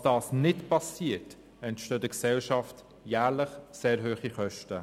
Falls das nicht geschieht, entstehen der Gesellschaft jährlich sehr hohe Kosten.